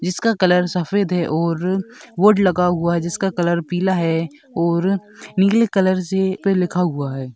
जिसका कलर सफ़ेद है बोर्ड लगा हुआ है जिसका रंग पीला है और नील कलर से इसपे लिखा हुआ है।